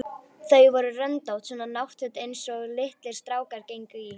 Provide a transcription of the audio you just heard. Þau voru röndótt, svona náttföt einsog litlir strákar gengu í.